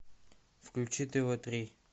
включи тв три